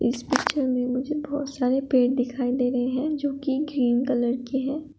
इस पिक्चर में मुझे बहोत सारे पेड़ दिखाई दे रहे हैं जो कि ग्रीन कलर के हैं।